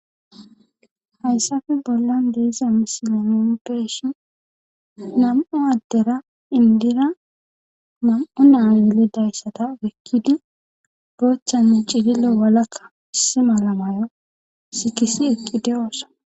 Hayssafe bollan diiza misilolompeshin nam'u addera indira mam'o naa yilidayssata wekkidi boochchanne cidilo walakka issi mala mayo sikisi ekkidiyoossa.